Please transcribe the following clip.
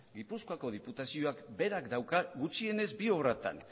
gipuzkoako diputazioak berak dauka gutxienez bi obratan